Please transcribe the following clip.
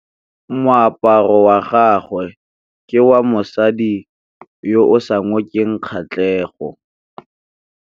Moaparô wa gagwe ke wa mosadi yo o sa ngôkeng kgatlhegô.